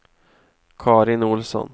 Karin Olsson